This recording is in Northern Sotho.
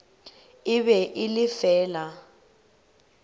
e be e le fela